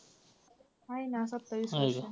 आहे ना सत्तावीसपर्यंत.